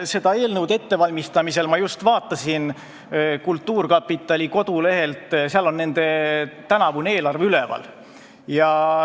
Selle eelnõu ettevalmistamisel ma vaatasin kultuurkapitali kodulehte, kus on nende tänavune eelarve üleval.